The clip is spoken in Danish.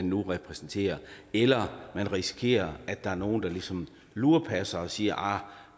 nu repræsenterer eller man risikerer at der er nogle der ligesom lurepasser og siger arh